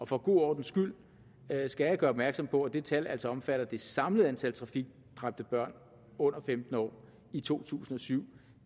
for god ordens skyld skal jeg gøre opmærksom på at det tal altså omfatter det samlede antal trafikdræbte børn under femten år i to tusind og syv